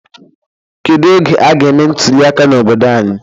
Kedụ oge aga eme ntụliaka n'obodo anyị?